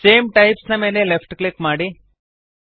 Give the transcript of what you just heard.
same types ನ ಮೇಲೆ left click ಮಾಡಿರಿ